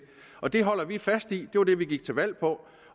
og det holder vi fast i det var det vi gik til valg